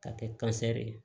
K'a kɛ ye